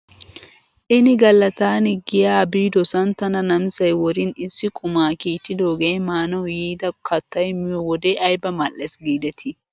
Ini gala taani giyaa biidosan tana namisay worin issi qumaa kiittidoogee maanaw yiida kattay miyoo wode ayba mal'es giidetii .